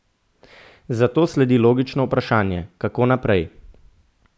Zato sledi logično vprašanje, kako naprej?